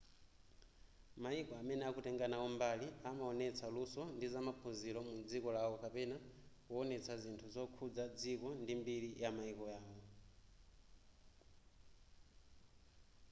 mayiko amene akutenga nawo mbali amaonetsa luso ndi zamaphunziro mu dziko lawo kapena kuwonetsa zinthu zokhudza dziko ndi mbiri yamayiko yawo